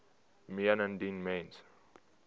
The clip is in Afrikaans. meen indien mens